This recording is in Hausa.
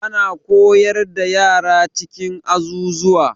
Ana koyar da yara a cikin azuzuwa.